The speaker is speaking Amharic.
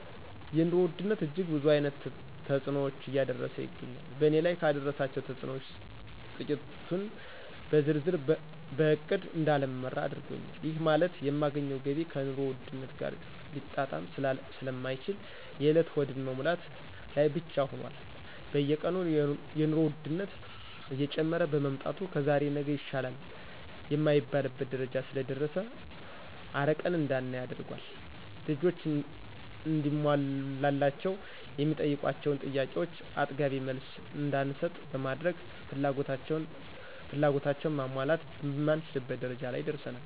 የኑሮ ውድነት እጅግ ብዙ አይነት ተጽኖዎችን እያደረሰ ይገኛል በእኔ ላይ ካደረሳቸው ተጽኖዎች ትቂቱን ብዘረዝር በእቅድ እዳልመራ አድርጎኛል ይህ ማለት የማገኘው ገቢ ከኑሮ ውድነት ጋር ሊጣጣም ስለማይችል የእለት ሆድን መሙላት ላይ ብቻ ሁኖል። በየቀኑ የኑሮ ወድነት እየጨመረ በመምጣቱ ከዛሬ ነገ ይሻላል የማይባልበት ደረጃ ስለደረሰ አርቀን እዳናይ አድርጓል። ልጆች እንዲሟላላቸው የሚጠይቋቸውን ጥያቄዎቾ አጥጋቢ መልስ እዳንሰጥ በማድረግ ፍላጎታቸውን ማሟላት የማንችልበት ደረጃ ላይ ደርሰናል።